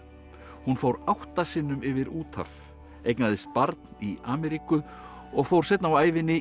hún fór átta sinnum yfir úthaf eignaðist barn í Ameríku og fór seinna á ævinni í